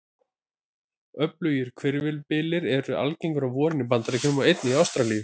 Öflugir hvirfilbyljir eru algengir á vorin í Bandaríkjunum og einnig í Ástralíu.